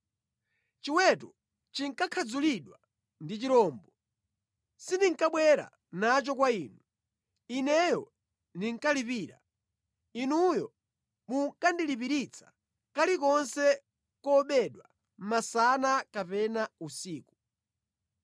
Chiweto chikakhadzulidwa ndi chirombo, sindinkabwera nacho kwa inu. Ineyo ndinkalipira. Inuyo munkandilipiritsa kalikonse kobedwa masana kapena usiku.